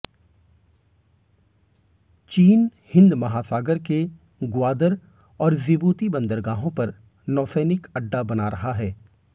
चीन हिंद महासागर के ग्वादर और जिबूती बंदरगाहों पर नौसैनिक अड्डा बना रहा है